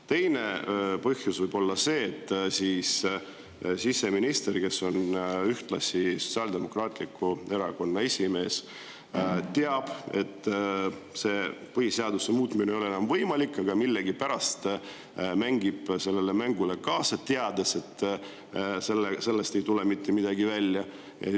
Teine põhjus võib olla see, et siseminister, kes on ühtlasi Sotsiaaldemokraatliku Erakonna esimees, teab, et põhiseaduse muutmine ei ole enam võimalik, aga millegipärast mängib seda mängu kaasa, teades, et sellest ei tule mitte midagi välja.